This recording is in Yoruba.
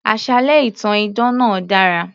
Àsálẹ́ ìtàn idán náà dára